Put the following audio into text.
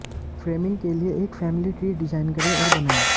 framing के लिए एक फ़ैमिली ट्री डिज़ाइन करें और बनाएं